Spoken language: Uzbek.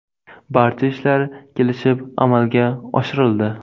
Barcha ishlar kelishib amalga oshirildi.